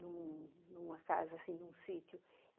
numa casa, num sítio.